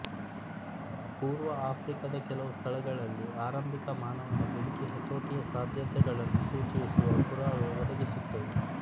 ಪೂರ್ವ ಆಫ್ರಿಕಾದ ಕೆಲವು ಸ್ಥಳಗಳಲ್ಲಿ ಆರಂಭಿಕ ಮಾನವನ ಬೆಂಕಿಯ ಹತೋಟಿಯ ಸಾಧ್ಯತೆಗಳನ್ನು ಸೂಚಿಸುವ ಪುರಾವೆ ಒದಗಿಸುತ್ತವೆ